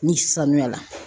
Ni sanuya la.